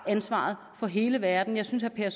ansvaret for hele verden jeg synes at herre